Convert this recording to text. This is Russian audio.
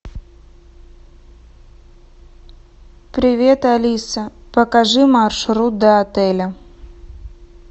привет алиса покажи маршрут до отеля